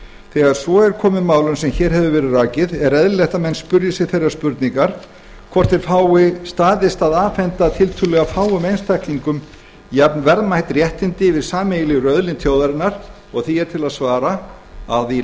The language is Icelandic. þegar svo er komið málum er eðlilegt að menn spyrji sig þeirrar spurningar hvort það fái staðist að afhenda tiltölulega fáum einstaklingum jafnverðmæt réttindi yfir sameiginlegri auðlind þjóðarinnar sagði þorgeir því er til að svara að í